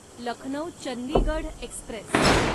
Lucknow Chandigarh Express